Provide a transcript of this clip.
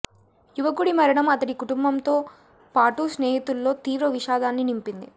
యువకుడి మరణం అతడి కుటుంబంతో పాటూ స్నేహితుల్లో తీవ్ర విషాదాన్ని నింపింది